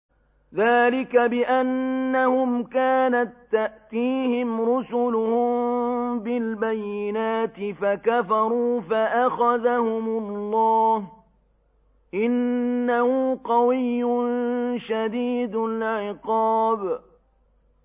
ذَٰلِكَ بِأَنَّهُمْ كَانَت تَّأْتِيهِمْ رُسُلُهُم بِالْبَيِّنَاتِ فَكَفَرُوا فَأَخَذَهُمُ اللَّهُ ۚ إِنَّهُ قَوِيٌّ شَدِيدُ الْعِقَابِ